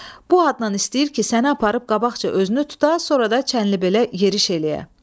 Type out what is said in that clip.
Bu adnan istəyir ki, səni aparıb qabaqca özünü tuta, sonra da Çənnilibelə yeriş eləyə.